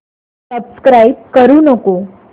subscribe करू नको